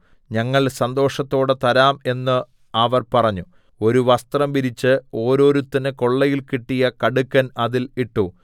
ഞങ്ങൾ സന്തോഷത്തോടെ തരാം എന്ന് അവർ പറഞ്ഞു ഒരു വസ്ത്രം വിരിച്ച് ഒരോരുത്തന് കൊള്ളയിൽ കിട്ടിയ കടുക്കൻ അതിൽ ഇട്ടു